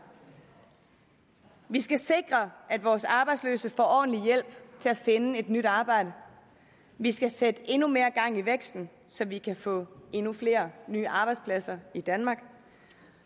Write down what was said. vi skal sikre at vores arbejdsløse får ordentlig hjælp til at finde et nyt arbejde vi skal sætte endnu mere gang i væksten så vi kan få endnu flere nye arbejdspladser i danmark